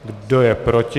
Kdo je proti?